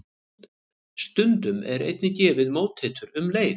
Stundum er einnig gefið móteitur um leið.